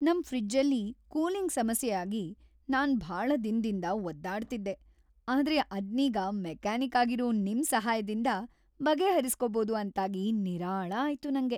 ನಮ್‌ ಫ್ರಿಜ್ಜಲ್ಲಿ ಕೂಲಿಂಗ್‌ ಸಮಸ್ಯೆ ಆಗಿ ನಾನ್‌ ಭಾಳ ದಿನದಿಂದ ಒದ್ದಾಡ್ತಿದ್ದೆ, ಆದ್ರೆ ಅದ್ನೀಗ ಮೆಕಾನಿಕ್ ಆಗಿರೋ ನಿಮ್‌ ಸಹಾಯ್ದಿಂದ ಬಗೆಹರಿಸ್ಕೋಬೋದು ಅಂತಾಗಿ ನಿರಾಳ ಆಯ್ತು ನಂಗೆ.